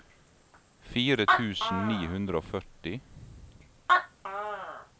fire tusen ni hundre og førti